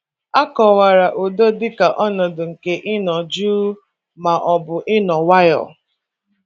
A kọwara udo dịka ọnọdụ nke ịnọ jụụ ma ọ bụ ịnọ nwayọọ